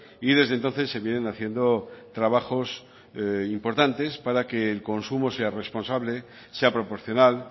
y desde entonces se vienen haciendo trabajos importantes para que el consumo sea responsable sea proporcional